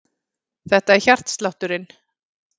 Þetta er hjartslátturinn.